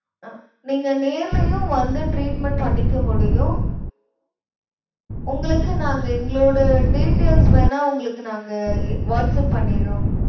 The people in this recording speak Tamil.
அஹ் நீங்க நேர்லயும் வந்து treatment பண்ணிக்க முடியும். உங்களுக்கு நாங்க எங்களோட details வேணா உங்களுக்கு நாங்க எ~ வாட்ஸ்ஆப் பண்ணிடறோம்.